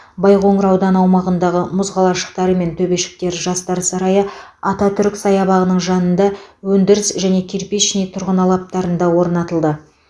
байқоңыр ауданы аумағындағы мұз қалашықтары мен төбешіктер жастар сарайы ататүрік саябағының жанында өндіріс және кирпичный тұрғын алаптарында орнатылды